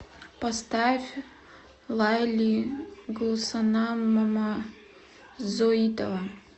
поставь лайли гулсанам мамазоитова